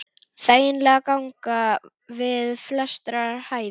Þægileg ganga við flestra hæfi.